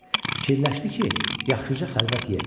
Fikirləşdi ki, yaxşıca xəlvət yerdir.